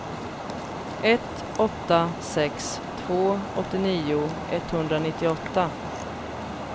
ett åtta sex två åttionio etthundranittioåtta